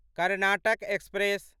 Karnataka express